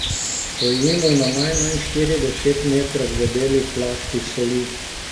Stojimo na najmanj štirideset metrov debeli plasti soli.